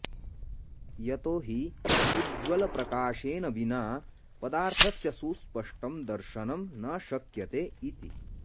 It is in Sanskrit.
यतो हि उज्ज्वलप्रकाशेन विना पदार्थस्य सुस्पष्टं दर्शनं न शक्यते इति